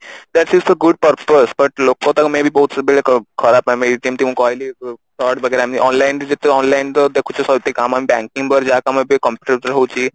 that is for good purpose but ଲୋକ ତାକୁ maybe ବହୁତ ସବୁବେଳେ ଖରାପ I mean ମୁଁ ଯେମତି କହିଲି ford ବଗେରା I mean online ରେ ଯେତେବେଳେ online ରେ ଦେଖୁଛେ banking ଉପରେ ଯାହା କାମ ବି computer ଦ୍ଵାରା ହଉଛି